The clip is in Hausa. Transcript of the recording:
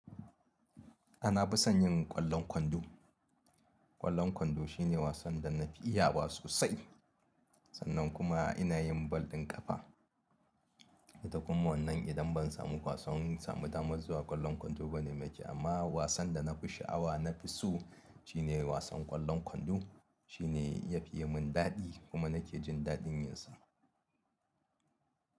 A na fi son yin ƙwallon kwando. Ƙwallon kwando shine wasan da na fi iya wa sosai sannan kuma ina yin bal ɗin ƙafa. Da kuma wannan idan ban samu kwasan samu damar zuwa ƙwallon kwando ba ne mai kyau amma wasan da na fi sha'awa na fi so shine wasan ƙwallon kwando. Shi ne yafiye mun daɗi kuma nake jin daɗi yinsa.